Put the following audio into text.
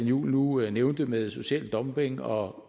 juhl nu nævnte med social dumping og